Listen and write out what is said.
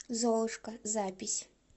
золушка запись